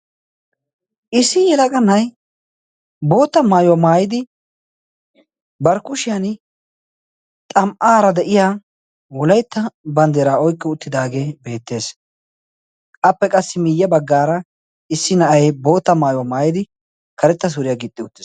issi yealaga nai bootta maayuwaa maayidi barkkushiyan xam77aara de7iya wolaitta banddeeraa oyqqi uttidaagee beettees appe qassi miiyya baggaara issi na7ai bootta maayuwaa maayidi karetta suuriyaa giixxi utes